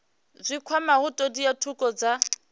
dzi kwamaho thodea thukhu dza